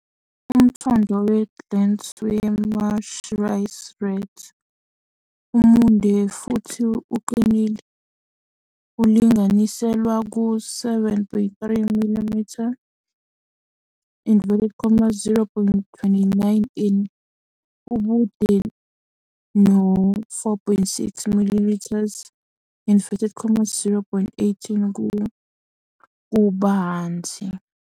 Umthondo we-glans we-marsh rice rat umude futhi uqinile, ulinganiselwa ku-7.3mm, 0.29in, ubude no-4.6mm, 0.18ku, kubanzi.